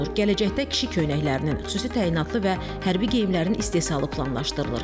Gələcəkdə kişi köynəklərinin, xüsusi təyinatlı və hərbi geyimlərin istehsalı planlaşdırılır.